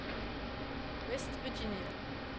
West Virginia